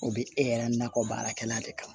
O bɛ e yɛrɛ nakɔ baarakɛla de kama